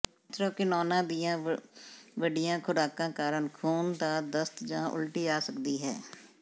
ਐਂਥ੍ਰੈਕਿਨੋਨਾਂ ਦੀਆਂ ਵੱਡੀਆਂ ਖ਼ੁਰਾਕਾਂ ਕਾਰਨ ਖ਼ੂਨ ਦਾ ਦਸਤ ਜਾਂ ਉਲਟੀ ਆ ਸਕਦੀ ਹੈ